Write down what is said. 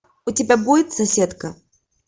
у тебя будет соседка